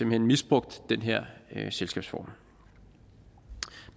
hen misbrugt den her selskabsform